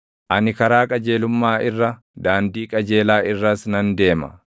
Ani karaa qajeelummaa irra, daandii qajeelaa irras nan deema;